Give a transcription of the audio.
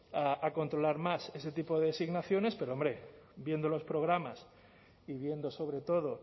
a controlar más ese tipo de designaciones pero hombre viendo los programas y viendo sobre todo